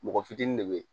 Mɔgɔ fitinin de bɛ ye